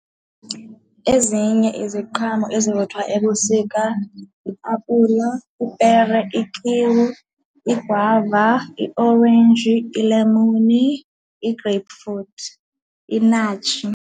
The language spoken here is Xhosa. Ezinye iziqhamo ezivuthwa ebusika yiapula, ipere, ikiwi, igwava, iorenji, ilemuni, i-grape fruit, inatjie.